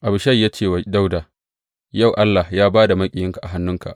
Abishai ya ce wa Dawuda, Yau Allah ya ba da maƙiyinka a hannunka.